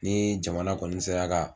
Ni jamana kɔni sera ka